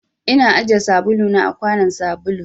Ina ajiye sabulu na a kwanun sabulu.